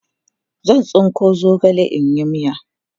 zan. tsinko zogale in yi miya